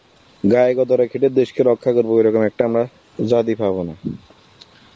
গায়ে গতরে খেতে দেশকে রক্ষা করব ঐরকম একটা লয় জাতি পাবনা